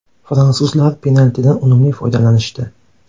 Fransuzlar penaltidan unumli foydalanishdi.